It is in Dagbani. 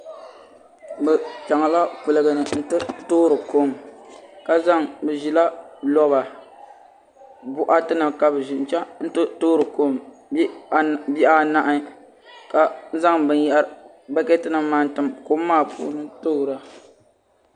Bi chɛŋla kuligi ni n ti toori kom bi ʒila boɣati nim n chɛŋ ti toori kom bihi anahi ka zaŋ bokati nim maa n tim kom maa puuni toora